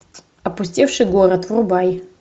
опустевший город врубай